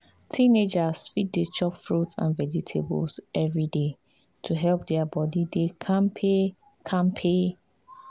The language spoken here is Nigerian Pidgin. teenagers fit dey chop fruit and vegetables every day to help their body dey kampe. kampe.